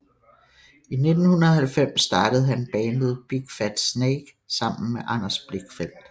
I 1990 startede han bandet Big Fat Snake sammen med Anders Blichfeldt